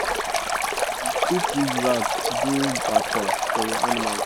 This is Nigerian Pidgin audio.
you um fit use rag do bacha for your animals